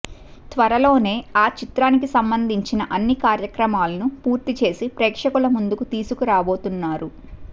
త్వరలోనే ఆ చిత్రానికి సంబంధించిన అన్ని కార్యక్రమాలను పూర్తి చేసి ప్రేక్షకుల ముందుకు తీసుకు రాబోతున్నారు